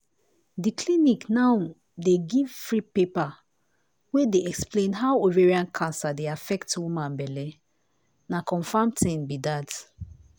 di clinic now dey give free paper wey dey explain how ovarian cancer dey affect woman belle. na confam tin be dat.